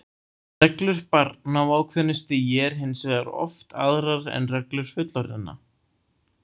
Reglur barna á ákveðnu stigi eru hins vegar oft aðrar en reglur fullorðinna.